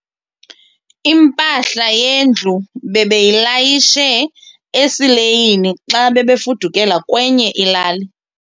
Impahla yendlu bebeyilayishe esileyini xa bebefudukela kwenye ilali.